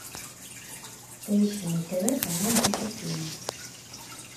поищи на тв канал наша тема